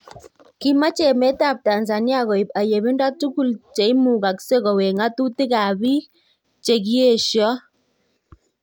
Kimache emet ab Tanzania koib ayebindo tugul cheimugaskei kowek ngatutik ab biik chekiesion